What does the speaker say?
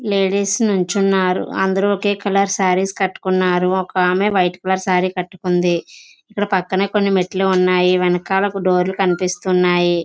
Ladies నిల్చున్నారు. అందరూ ఒకే కలర్ సారీస్ కట్టుకున్నారు. ఒక ఆమె వైట్ కలర్ సారీ కట్టుకుంది. ఇక్కడ పక్కనే కొన్ని మెట్లు ఉన్నాయి. వెనకాల డోర్లు కనిపిస్తున్నాయి.